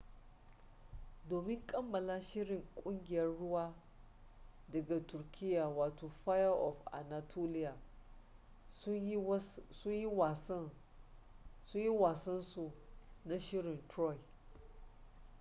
domin kammala shirin kungiyar rawa daga turkiya wato fire of anatolia sun yi wasan su na shirin troy